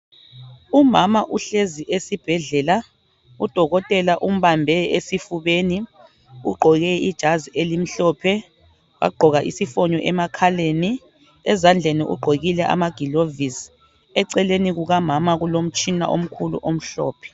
Umama uhlezi esibhedlela. Udokotela umbambe esifubeni. Ugqoke ijazi elimhlophe. Wagqoka isifonyo emakhaleni. Ezandleni ugqokile amagilovisi. Eceleni kukamama kulomtshina omkhulu omhlophe.